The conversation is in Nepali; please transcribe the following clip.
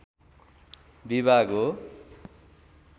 विभाग हो